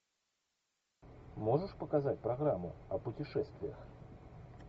можешь показать программу о путешествиях